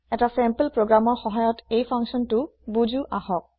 এটা চেম্পল প্ৰগ্ৰেমৰৰ সহায়ত এই ফাংছনটো বুজো আহক